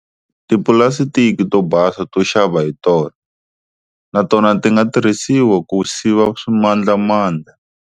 Tipulasitiki to basa to xava hi tona na tona ti nga tirhisiwa ku siva swimandlamandla.